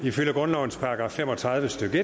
ifølge grundlovens § fem og tredive stykke